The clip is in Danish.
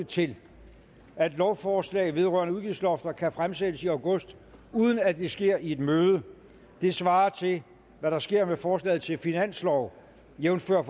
til at lovforslag vedrørende udgiftslofter kan fremsættes i august uden at det sker i et møde det svarer til hvad der sker med forslaget til finanslov jævnfør